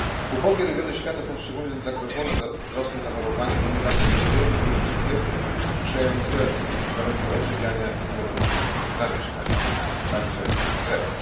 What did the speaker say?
Ubogie regiony świata są szczególnie zagrożone wzrostem zachorowań, ponieważ rozwojowi gruźlicy sprzyjają złe warunki odżywiania i złe warunki zamieszkania, a także stres.